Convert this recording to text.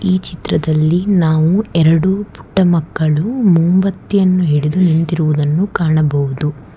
ಈ ಚಿತ್ರದಲ್ಲಿ ನಾವು ಎರಡು ಪುಟ್ಟ ಮಕ್ಕಳು ಮುಂಬತ್ತಿಯನ್ನು ಹಿಡಿದು ನಿಂತಿರುವುದನ್ನು ಕಾಣಬಹುದು.